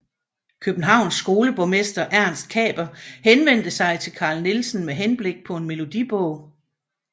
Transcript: Københavns skoleborgmester Ernst Kaper henvendte sig til Carl Nielsen med henblik på en melodibog